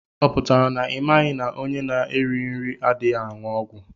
Ọ pụtara na imaghi na ọnye na -erighi nri adịghị anwụ ọgwụ?